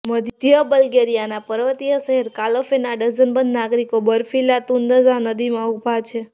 મધ્ય બલ્ગેરિયાના પર્વતીય શહેર કાલોફેરના ડઝનબંધ નાગરિકો બર્ફીલા તુન્દઝા નદીમાં ઉભા છે